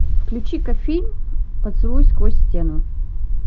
включи ка фильм поцелуй сквозь стену